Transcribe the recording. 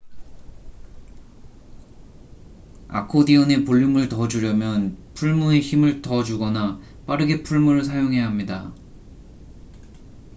아코디언에 볼륨을 더 주려면 풀무에 힘을 더 주거나 빠르게 풀무를 사용해야 합니다